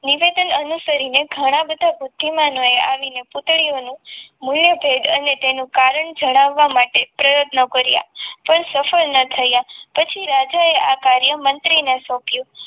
નિવેદન અનુસરીને ઘણા બધા બુદ્ધિમાન આવીને પૂતળીઓનું મૂલ્ય ભેટ અને તેનું કારણ જણાવવા માટે પ્રયત્નો કર્યા પણ સફળ ના થયા પછી રાજાએ આ કાર્ય મંત્રીને સોંપ્યું.